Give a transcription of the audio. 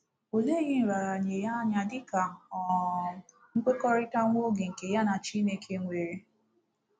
O leghi nraranye ya anya dị ka um nkwekọrịta nwa oge nke ya na Chineke nwere!